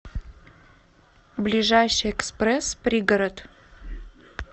ближайший экспресс пригород